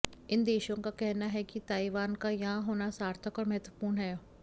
इन देशों का कहना है कि ताइवान का यहां होना सार्थक और महत्वपूर्ण है